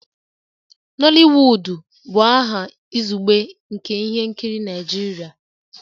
Nooliwudu bụ aha izugbe nke ihe nkiri Naijiria